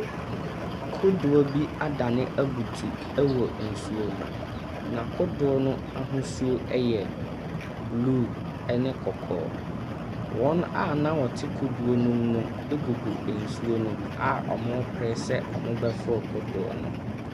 Kodoɔ bi adane abutu wɔ nsuo mu, na kodoɔ no ahosuo yɛ blue ne kɔkɔɔ. Wɔn a na wɔte kodoɔ no mu no gugu nsuo ne mu a wɔrepere sɛ wɔbɛforo kodoɔ no.